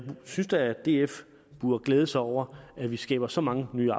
synes da at df burde glæde sig over at vi skaber så mange nye